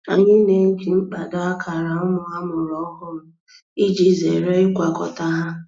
Anyị na-eji mkpado akara ụmụ amụrụ ọhụrụ iji zere ịgwakọta ha.